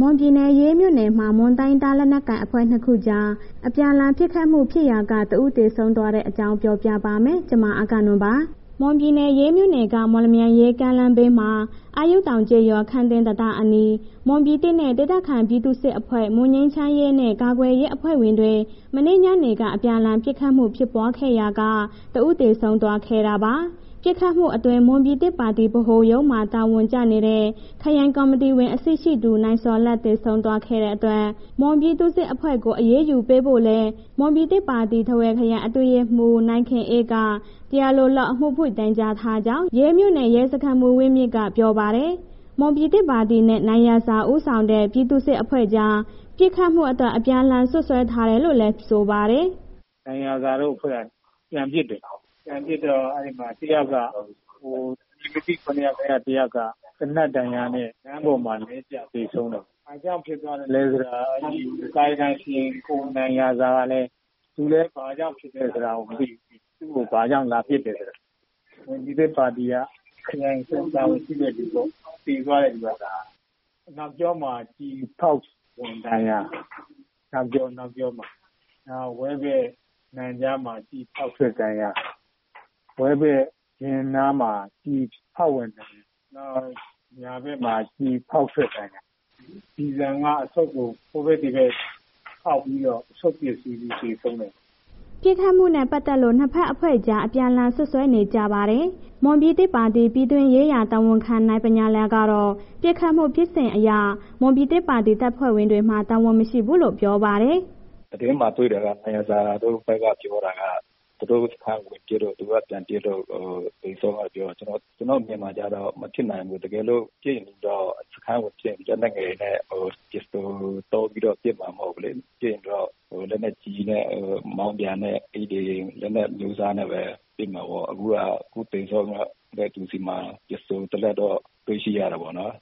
မွန်ပြည်နယ် ရေးမြို့နယ်မှာ မွန်တိုင်းရင်းသား လက်နက်ကိုင်အဖွဲ့ ၂ ခုကြား အပြန်အလှန် ပစ်ခတ်မှုဖြစ်ရာက တဦး သေဆုံးသွားတဲ့အကြောင်းကို ဗွီအိုအေမြန်မာပိုင်းသတင်းထောက် မအဂ္ဂနွန်က ပြောပြပါမယ်။ မွန်ပြည်နယ် ရေးမြို့နယ်က မော်လမြိုင်-ရေး ကားလမ်းဘေးက အာယုတောင်ကျေးရွာ ခမ်းသင်း တံတားအနီး မွန်ပြည်သစ်ပါတီနဲ့ ဒေသခံပြည်သူ့စစ်အဖွဲ့ မွန်ငြိမ်းချမ်းရေးနဲ့ ကာကွယ်ရေးအဖွဲ့ဝင်တွေ မနေ့ညနေက အပြန်အလှန် ပစ်ခတ်မှုဖြစ်ပွားခဲ့ရာက တဦးသေဆုံးသွားခဲ့တာပါ။ ပစ်ခတ်မှုအတွင်း မွန်ပြည်သစ်ပါတီဗဟိုရုံးမှာ တာဝန်ကျနေတဲ့ ခရိုင်ကော်မတီဝင်အဆင့်ရှိသူ နိုင်ဇော်လတ် သေဆုံးသွားတဲ့အတွက် မွန်ပြည်သူ့စစ်အဖွဲ့ကို အရေးယူပေးဖို့လည်း မွန်ပြည်သစ်ပါတီ ထားဝယ်ခရိုင် အတွင်းရေးမှူး နိုင်ခင်အေးက တရားလိုလုပ် အမှုဖွင့်တိုင်ကြားထားကြောင်း ရေးမြို့နယ် ရဲစခန်းမှူး ဝင်းမြင့်က ပြောပါတယ်။ မွန်ပြည်သစ်ပါတီနဲ့ နိုင်ရာဇာဦးဆောင်တဲ့ ပြည်သူ့စစ်အဖွဲ့ကြား ပစ်ခတ်မှုအတွက် အပြန်အလှန်စွပ်စွဲထားတယ်လို့လည်း ဆိုပါတယ်။ “နိုင်ရာဇာတို့အဖွဲ့က ပြန်ပစ်တယ်၊ ပြန်ပစ်တော့ အဲ့ဒီမှာ အမည်မသိ ၇ ယောက်ထဲ တစ်ယောက်က သေနတ်ဒဏ်ရာနဲ့ လမ်းပေါ်မှာ လဲကျသေဆုံးတာပေါ့၊ ဘာကြောင့်ဖြစ်သွားသလဲဆိုတာ ကံယကံရှင် ကိုနိုင်ရာဇာကလည်း.. သူလည်း ဘာကြောင့် ပစ်ခံရသလဲဆိုတာလည်း မသိဘူး။ သူ့ကို ဘာကြောင့်လာပစ်တယ်ဆိုတာ။ မွန်ပြည်သစ်ပါတီက ခရိုင်အဆင့် တာဝန်ရှိတဲ့လူ သေသွားတဲ့လူက၊ အနောက်ကျောမှာ ကျည်ဖောက်ဝင်ဒဏ်ရာ၊ နောက်ဝမ်းဗိုက် နံကြားမှာ ကျည်ဖောက်ဝင်ဒဏ်ရာ၊ ဝဲဘက် ဖင်နားမှာ ကျည်ဖောက်ဝင်ဒဏ်ရာ၊ နောက်ညာဘက်မှာ ကျည်ဖောက်ထွက်ဒဏ်ရာ၊ ကျည်ဆံက အဆုတ်ကို ဟိုဘက် ဒီဘက်ဖောက်ပြီးတော့ အဆုတ်ပျက်စီးလို့ သေဆုံးတာ။” ပစ်ခတ်မှုနဲ့ ပတ်သက်လို့ ၂ ဘက်အဖွဲ့ကြား အပြန်အလှန် စွပ်စွဲနေကြပါတယ်။ မွန်ပြည်သစ်ပါတီ ပြည်တွင်းရေးရာ တာဝန်ခံ နိုင်ဗညာလယ်ကတော့ ပစ်ခတ်မှုဖြစ်စဉ်အရ မွန်ပြည်သစ်ပါတီ တပ်ဖွဲ့ဝင်တွေမှာ တာဝန်မရှိဘူးလို့ပြောပါတယ်။ “သတင်းမှာ တွေ့တာက နိုင်ရာဇာတို့ဘက်က ပြောတာက သူတို့စခန်းကို ပစ်လို့ သူက ပြန်ပစ်လို့ သေဆုံးတာပြောတယ်။ ကျနော်အမြင်မှာကျတော့ မဖြစ်နိုင်ဘူး၊ တကယ်လို့ စခန်းကိုပစ်ရင် လက်နက်ငယ်နဲ့ ပစ္စတို သုံးပြီးတော့ ပစ်တာမဟုတ်ဘူးလေး၊ ပစ်ရင်တော့ လက်နက်ကြီးနဲ့ မောင်းပြန်နဲ့ အဲ့ဒီလက်နက် အမျိုးအစားနဲ့ပဲ ဖြစ်မှာပေါ့၊ အခုက အခုသေဆုံးတဲ့သူဆီမှာ ပစ္စတို တစ်လက်တော့ တွေ့ရှိတယ်ပေါ့နော်၊